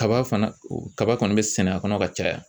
Kaba fana kaba kɔni be sɛnɛ a kɔnɔ ka caya